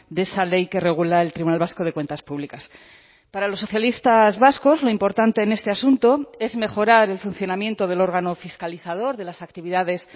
de esa ley que regula el tribunal vasco de cuentas públicas para los socialistas vascos lo importante en este asunto es mejorar el funcionamiento del órgano fiscalizador de las actividades